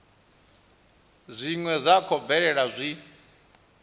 zwine zwa khou bvelela zwi